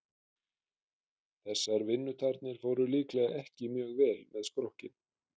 Þessar vinnutarnir fóru líklega ekki mjög vel með skrokkinn.